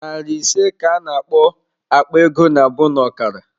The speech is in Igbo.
Nari ise ka a na-akpọ "Akpa ego nabụ n'ọkara"